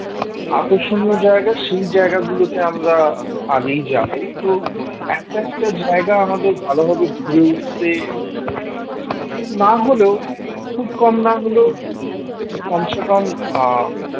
আকর্ষণীয় জায়গায় সেই জায়গাগুলোতে আমরা আগেই যাবো তো এক একটা জায়গায় আমাদের ভালোভাবে ঘুরে উঠতে না হলেও খুব কম না হলেও কমসে কম আহ